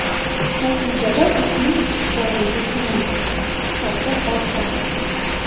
Natijada ipning tukdorligi kamayadi, sifati ortadi.